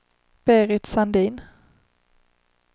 Berit Sandin